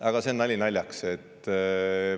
Aga nali naljaks.